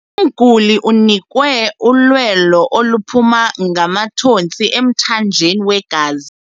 Umguli unikwe ulwelo oluphuma ngamathontsi emthanjeni wegazi.